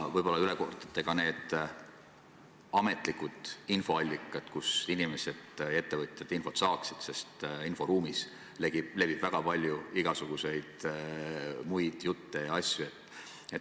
Võib-olla kordate üle ka need ametlikud infoallikad, kust inimesed-ettevõtjad teavet saaksid, sest inforuumis levib väga palju igasuguseid muid jutte ja asju.